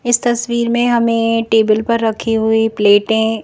इस तस्वीर में हमें टेबल पर रखी हुई प्लेटें --